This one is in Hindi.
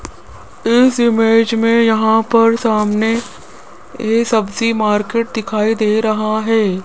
इस इमेज में यहां पर सामने यह सब्जी मार्केट दिखाई दे रहा है।